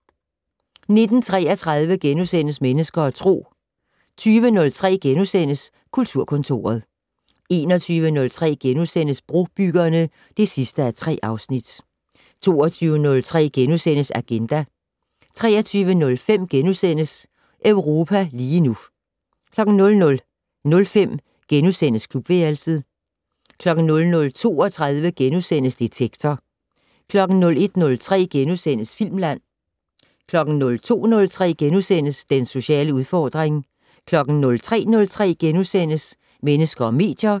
19:33: Mennesker og Tro * 20:03: Kulturkontoret * 21:03: Brobyggerne (3:3)* 22:03: Agenda * 23:05: Europa lige nu * 00:05: Klubværelset * 00:32: Detektor * 01:03: Filmland * 02:03: Den sociale udfordring * 03:03: Mennesker og medier *